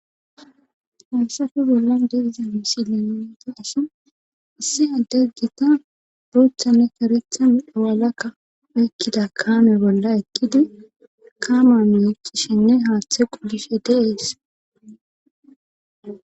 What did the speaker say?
Hansafe bolla deiza misile nonti asa assi addaggita bootha ne karethan awalakka ekkida kaame bolla ekkidi kaamameekkishenne haaththe qulishe deees.